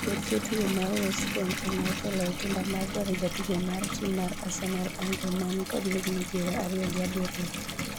kweth jotugo mar West Brom ema otelo e kinda mar dwaro jatugo mar tim mar arsenal Andre, mani kod higni piero ariyo gi abiriyo,